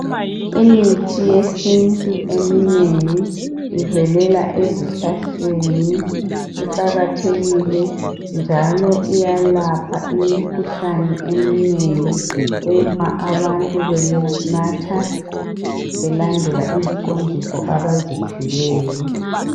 Imithi yesintu eminengi ivelela ezihlahleni, iqakathekile njalo iyalapha imikhuhlane eminengi uma abantu benatha belandela iziqondiso abaziphiweyo.